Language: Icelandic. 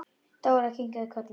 Dóra kinkaði kolli.